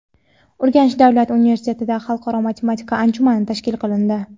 Urganch davlat universitetida xalqaro matematika anjumani tashkil qilindi.